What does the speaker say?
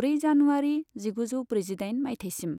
ब्रै जानुवारि जिगुजौ ब्रैजिदाइन मायथाइसिम।